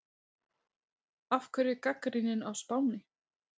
Af hverju gagnrýnin á Spáni?